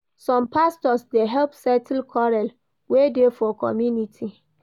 Some pastors dey help settle quarrel wey dey for community.